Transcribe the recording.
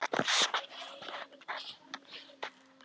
Blanda af öllum dönsum.